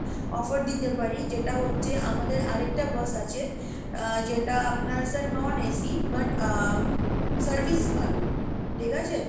offer দিতে পারি যেটা হচ্ছে আমাদের আরেকটা bus আছে, আহ যেটা আপনার sir non AC but uh service ভালো ঠিক আছে?